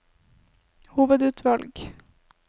hovedutvalg